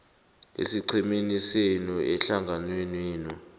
esiqhemeni senu ehlanganwenenu